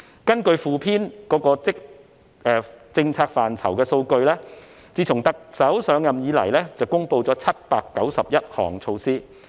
根據附篇內各政策範疇的數據，特首自上任以來公布了791項措施。